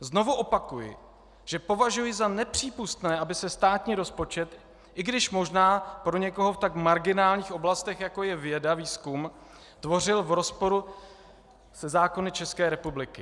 Znovu opakuji, že považuji za nepřípustné, aby se státní rozpočet, i když možná pro někoho v tak marginálních oblastech, jako je věda, výzkum, tvořil v rozporu se zákony České republiky.